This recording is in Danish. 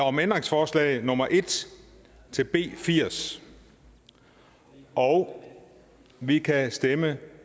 om ændringsforslag nummer en til b firs og vi kan stemme